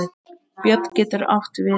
Björn getur átt við